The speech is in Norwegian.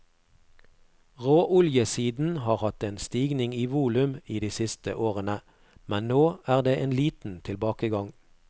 Råoljesiden har hatt en stigning i volum i de siste årene, men nå er det en liten tilbakegang.